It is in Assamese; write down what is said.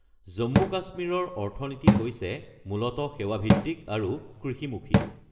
জম্মু-কাশ্মীৰৰ অৰ্থনীতি হৈছে মূলতঃ সেৱাভিত্তিক আৰু কৃষিমুখী।